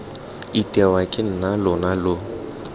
itewa ke nna lona lo